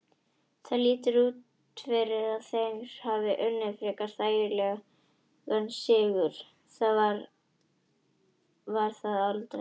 Það lítur út fyrir að þeir hafi unnið frekar þægilegan sigur, það var það aldrei.